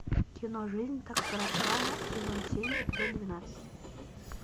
кино жизнь так коротка сезон семь эпизод двенадцать